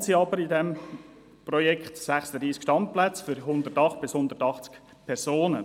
Geplant sind in diesem Projekt 36 Standplätze für 108 bis 180 Personen.